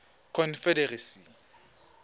confederacy